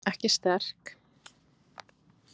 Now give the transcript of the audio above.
Ekki sterk.